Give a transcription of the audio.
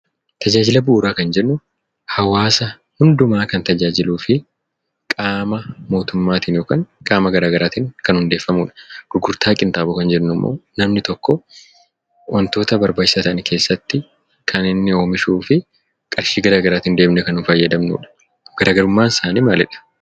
Tajaajila bu'uuraa kan jennu hawaasa hundumaa kan tajaajiluufi qaama mootummaatiin yookin qaama garaa garaatiin kan hundeeffamudha. Gurgurtaa qinxaaboo kan jennummoo namni tokkoo wantoota barbaachisaa ta'an keessatti kan inni oomishuufi qarshii garaa garaatiin deemnee kan nun fayyadamnudha. Garaagarummaansaanii maalidha?